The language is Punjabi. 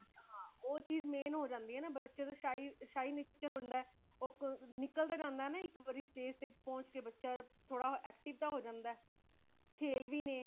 ਹਾਂ ਉਹ ਚੀਜ਼ main ਹੋ ਜਾਂਦੀ ਹੇ ਨਾ ਬੱਚਿਆਂ ਦਾ shy nature ਹੋਂਦ ਹ ਉਹ ਨਿਕਲ ਤੇ ਜਾਂਦਾ ਹ ਇਕ ਵਾਰੀ stage ਤੇ ਪਹੁੰਚ ਕੇ ,ਬੱਚਾ ਥੋੜਾ active ਤੇ ਹੋ ਜਾਂਦਾ ਹੇ ,ਖੇਲ ਵੀ ਨੇ